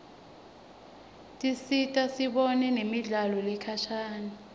tisita sibone nemidlalo lekhashane